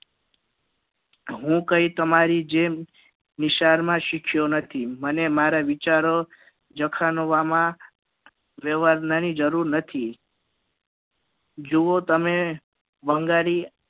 હું કઈ તમારી જેમ નિશાળ માં શિખ્યો નથી મને મારા વિચારો જખણવામાં વ્યવહાર તા ની જરૂર નથી કેવો તમે બંગાળી